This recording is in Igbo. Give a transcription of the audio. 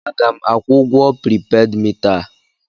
A ga m akwụ ụgwọ pripeed mita a?